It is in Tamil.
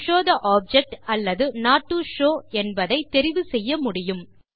டோ ஷோவ் தே ஆப்ஜெக்ட் அல்லது நோட் டோ ஷோவ் என்பதைத் தெரிவு செய்ய முடியும்